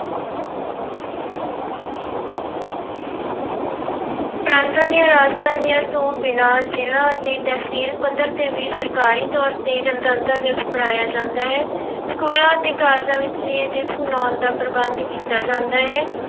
ਪ੍ਰਾਂਤਾਂ ਦੀਆਂ ਰਾਜਧਾਨੀਆਂ ਤੋਂ ਬਿਨਾਂ ਜ਼ਿਲ੍ਹਾ ਅਤੇ ਤਹਿਸੀਲ ਪੱਧਰ ਤੇ ਵੀ ਸਰਕਾਰੀ ਤੌਰ ਤੇ ਗਣਤੰਤਰ ਦਿਵਸ ਮਨਾਇਆ ਜਾਂਦਾ ਹੈ ਸਕੂਲਾਂ ਅਤੇ ਕਾਲਜਾਂ ਵਿੱਚ ਵੀ ਇਹ ਦਿਵਸ ਮਨਾਉਣ ਦਾ ਪ੍ਰਬੰਧ ਕੀਤਾ ਜਾਂਦਾ ਹੈ।